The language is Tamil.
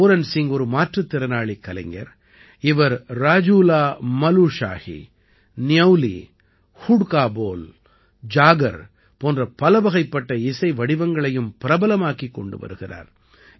பூரன் சிங் ஒரு மாற்றுத்திறனாளிக் கலைஞர் இவர் ராஜூலாமலுஷாஹி ந்யௌலி ஹுட்கா போல் ஜாகர் போன்ற பலவகைப்பட்ட இசை வடிவங்களையும் பிரபலமாக்கிக் கொண்டு வருகிறார்